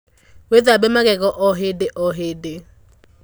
Wīthambe magego o hīndī o hīndī.